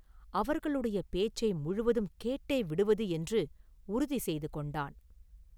அவர்களுடைய பேச்சை முழுதும் கேட்டேவிடுவது என்று உறுதிசெய்து கொண்டான்.